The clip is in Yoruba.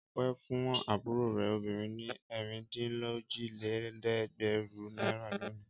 Ọpẹ́ fún àbúrò rẹ̀ obìnrin ní ẹ̀rìndínlójìlélẹ́ẹ̀dẹ́gbẹ̀rún náírà lónìí.